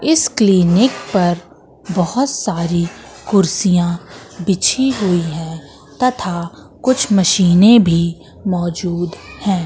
इस क्लीनिक पर बहुत सारी कुर्सियां बिछी हुई हैं तथा कुछ मशीनें भी मौजूद हैं।